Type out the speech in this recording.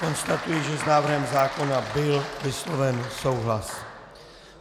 Konstatuji, že s návrhem zákona byl vysloven souhlas.